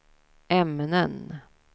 ämnen